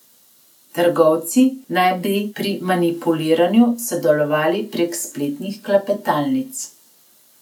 Trgovci naj bi pri manipuliranju sodelovali prek spletnih klepetalnic.